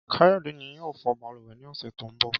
Káyọ̀dé ni yóò fọ balùwẹ̀ ní ọ̀sẹ̀ tó ń bọ̀